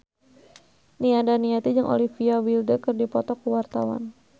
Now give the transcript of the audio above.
Nia Daniati jeung Olivia Wilde keur dipoto ku wartawan